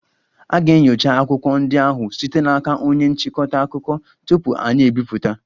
A ga-enyocha akwụkwọ ndị ahụ site n'aka onye nchịkọta akụkọ tupu anyị ebipụta